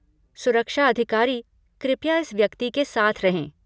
सुरक्षा अधिकारी, कृपया इस व्यक्ति के साथ रहें।